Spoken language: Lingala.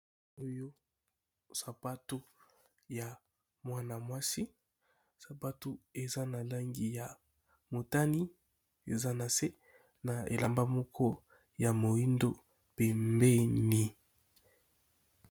Oyo sapato ya mwana mwasi sapato eza na langi ya motani eza na se na elamba moko ya moindo pembeni.